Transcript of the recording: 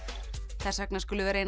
þess vegna skulum við reyna að